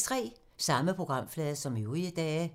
Samme programflade som øvrige dage